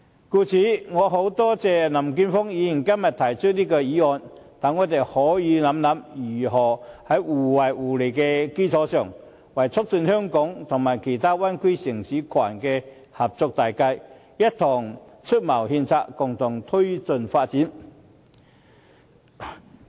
我十分感謝林健鋒議員今天提出這項議案，讓我們可以思考，如何在互惠互利的基礎上，為促進香港和其他灣區城市群的合作大計，一同出謀獻策，共同推進發展。